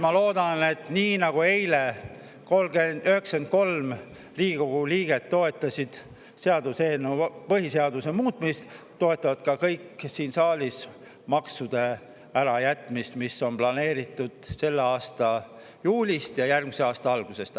Ma loodan, et nii nagu eile, kui 93 Riigikogu liiget toetasid põhiseaduse muutmist, toetab siin saalis nende maksude ärajätmist, mis on planeeritud selle aasta juulist ja järgmise aasta algusest.